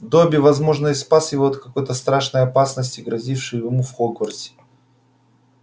добби возможно и спас его от какой-то страшной опасности грозившей ему в хогвартсе